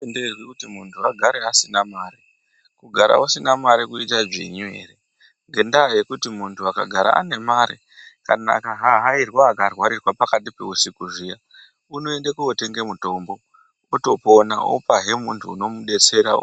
Azvi tenderwi kuti munhu agare asina mari kugara usina mari kuita dzvinyu ere ngendaa yekuti muntu aka gara ane mare kana aka hahairwa aka rwarirwa pakati peusiku zviya unoende kotenge mutombo oto pona opa hee muntu unomu detsera.